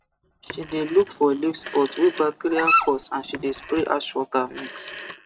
she dey look for leaf spot wey bacteria cause and she dey spray ashwater mix